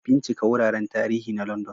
Bincika wuraren tarihi na London